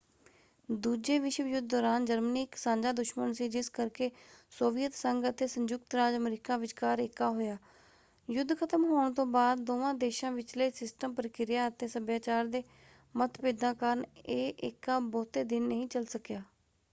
ਦੂਜੇ ਵਿਸ਼ਵ ਯੁੱਧ ਦੌਰਾਨ ਜਰਮਨੀ ਇੱਕ ਸਾਂਝਾ ਦੁਸ਼ਮਨ ਸੀ ਜਿਸ ਕਰਕੇ ਸੋਵੀਅਤ ਸੰਘ ਅਤੇ ਸਯੁੰਕਤ ਰਾਜ ਅਮਰੀਕਾ ਵਿਚਕਾਰ ਏਕਾ ਹੋਇਆ। ਯੁੱਧ ਖਤਮ ਹੋਣ ਤੋਂ ਬਾਅਦ ਦੋਵਾਂ ਦੇਸ਼ਾਂ ਵਿਚਲੇ ਸਿਸਟਮ ਪ੍ਰਕਿਰਿਆ ਅਤੇ ਸੱਭਿਆਚਾਰ ਦੇ ਮਤਭੇਦਾਂ ਕਾਰਨ ਇਹ ਏਕਾ ਬਹੁਤੇ ਦਿਨ ਨਹੀਂ ਚੱਲ ਸਕਿਆ।